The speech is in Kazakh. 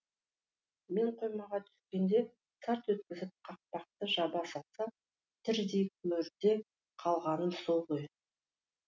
мен қоймаға түскенде сарт еткізіп қақпақты жаба салса тірідей көрде қалғаным сол ғой